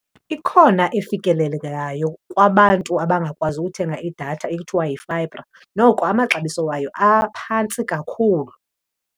Ikhona efikelelekayo kwabantu abangakwazi uthenga idatha ekuthiwa yi-fibre. Noko amaxabiso wayo aphantsi kakhulu.